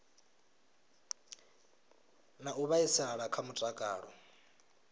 na u vhaisala kha mutakalo